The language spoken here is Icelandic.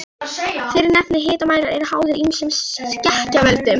Mér fannst ég vera mikill listamaður.